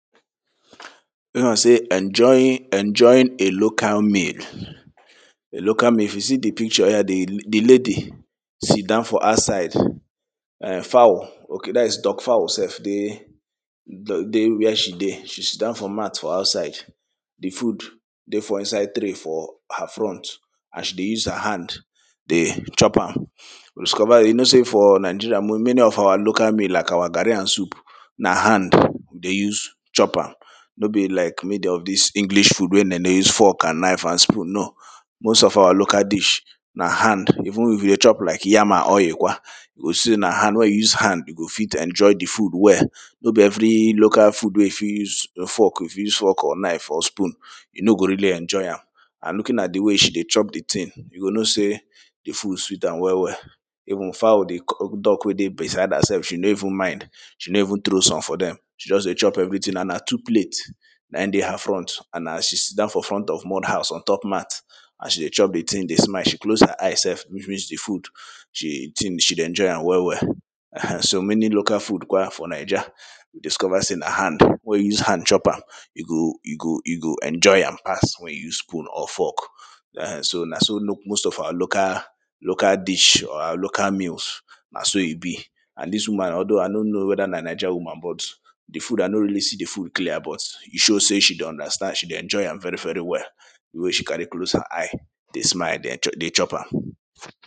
like sey enjoying enjoying a local meal a local meal if you see de picture um de de lady sit dan for outside um fowl okay that is duck fowl sef dey dey where she dey de sit dan for mat for outside de food de for inside tray for her front as she dey use her hand dey chop am you discova you know sey for nigeria many of our local meal like our garri and soup na hand we dey use chop am no be like made of dis english food wey dem dey use fork and knife and spoon no most of our local dish na hand even if you dey chop like yam and oil kwa you go see sey na hand wen you use hand you go fit enjoy de food well no be every local food wey you fit use fork fit use fork or knife or spoon you no go really enjoy am and looking at de way she dey chop de thing you go know sey de food sweet am well well even fowl duck wey de beside am sef she no even mind she no even throw some for dem she just dey chop everything and na two plates na im de her front and as she sit dan for front of mud house on top mat as she dey chop de thing de smile she close her eyes sef which means de food she de enjoy am well well um and so many local food kwa for naija diskova sey na hand wey you use hand chop am you go you go you go enjoy am pass wen you use spoon or fork um so na so most of our local local dish or local meals na so e bi and dis woman aldo i don't know weda na naija woman but de food i no really see de food clear but e show sey she de understand she de enjoy am very very well de way she carry close her eyes dey smile de chop am